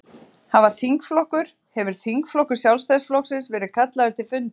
Heimir: Hafa þingflokkur, hefur þingflokkur Sjálfstæðisflokksins verið kallaður til fundar?